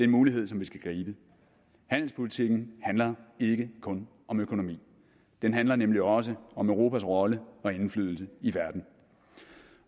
mulighed som vi skal gribe handelspolitikken handler ikke kun om økonomi den handler nemlig også om europas rolle og indflydelse i verden